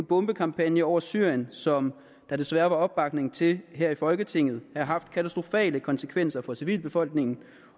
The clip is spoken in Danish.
bombekampagne over syrien som der desværre var opbakning til her i folketinget have haft katastrofale konsekvenser for civilbefolkningen